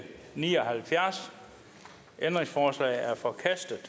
ni og halvfjerds ændringsforslaget er forkastet